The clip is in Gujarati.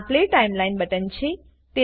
આ પ્લે ટાઈમલાઈન બટન છે